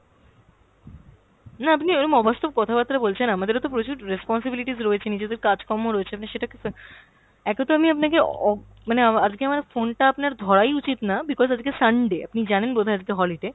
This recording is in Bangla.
না আপনি ওইরম অবাস্তব কথাবার্তা বলছেন, আমাদেরও তো প্রচুর responsibilities রয়েছে, নিজেদের কাজকর্ম রয়েছে আপনি সেটাকে কা~, একেতো আমি আপনাকে অ~ মানে আমা~ আজকে আমার phone টা আপনার ধরাই উচিত না because আজকে Sunday, আপনি জানেন বোধ হয় আজকে holiday।